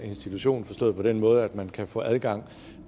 institution forstået på den måde at man gratis kan få adgang